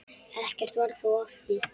Ekkert varð þó af því.